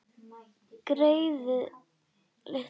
Greyið litla!